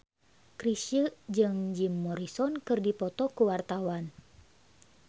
Chrisye jeung Jim Morrison keur dipoto ku wartawan